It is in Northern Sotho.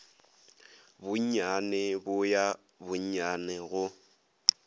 bonnyane bo ya bonnyane go